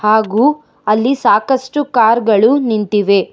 ಹಾಗು ಅಲ್ಲಿ ಸಾಕಷ್ಟು ಕಾರ್ ಗಳು ನಿಂತಿವೆ.